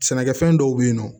Sɛnɛkɛfɛn dɔw bɛ yen nɔ